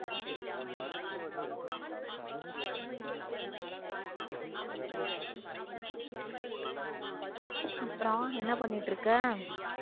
அப்புறம் என்ன பண்ணிட்டு இருக்க